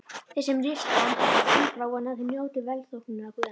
Þeir sem rista dýpra vona að þeir njóti velþóknunar guðanna.